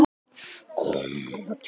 Nú vil ég segja þetta.